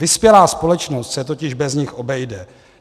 Vyspělá společnost se totiž bez nich obejde.